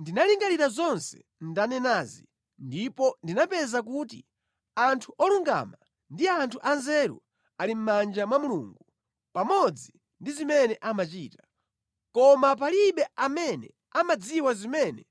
Ndinalingalira zonse ndanenazi ndipo ndinapeza kuti anthu olungama ndi anthu anzeru ali mʼmanja mwa Mulungu pamodzi ndi zimene amachita, koma palibe amene amadziwa zimene